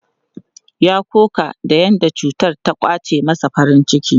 Ya koka da yadda cutar ta ƙwace masa farin ciki.